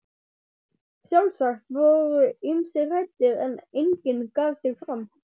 Sjálfsagt voru ýmsir hræddir, en enginn gaf sig fram.